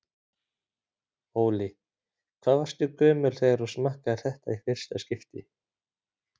Óli: Hvað varstu gömul þegar þú smakkaðir þetta í fyrsta skipti?